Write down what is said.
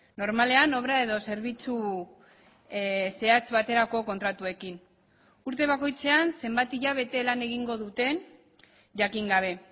normalean obra edo zerbitzu zehatz baterako kontratuekin urte bakoitzean zenbat hilabete lan egingo duten jakin gabe